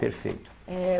Perfeito. Eh